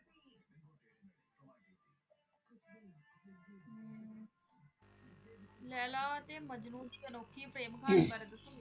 ਲੈਲਾ ਅਤੇ ਮਜਨੂੰ ਦੀ ਅਨੋਖੀ ਪ੍ਰੇਮ ਕਹਾਣੀ ਬਾਰੇ ਦੱਸੋਂਗੇ?